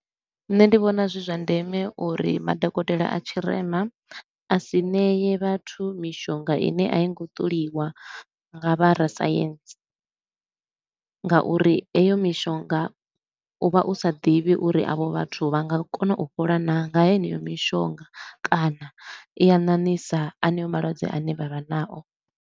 Nṋe ndi vhona zwi zwa ndeme uri madokotela a tshirema a si nee vhathu mishonga i ne a i ngo ṱoliwa nga vha rasaintsi nga uri heyo mishonga u vha u sa ḓivhi uri a vho vhathu vha nga kona u fhola naa nga heneyo mishonga kana i a ṋaṋisa aneo malwadze a ne vha vha nao.